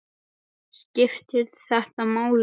Skiptir þetta máli?